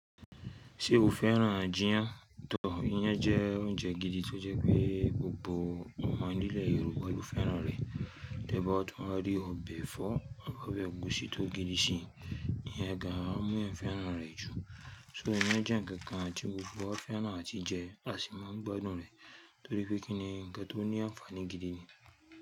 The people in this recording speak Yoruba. Ṣé o fẹ́ràn jìyán? Tọ, iyán jẹ́ oúnjẹ gidi tó jẹ́ pé gbogbo ọmọ nílẹ̀ Yorùbá lọ̀ fẹ́ràn rẹ̀. Tẹ́bàá tu ń rí ọbẹ̀ ẹ̀fọ́ àbi ọbẹ̀ ẹ̀gúsí tó gidi sí i, iyán ga á mú ẹ fẹ́ràn rẹ̀ jù. So iyán jẹ́ ǹkan ti gbòógbo wa fẹ́ràn á ti jẹ àti máa gbádùn rẹ̀ torí pé kí ni ǹkan tó ní ànfàní gidi ni.